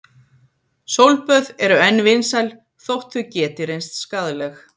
Sólböð eru enn vinsæl þótt þau geti reynst skaðleg.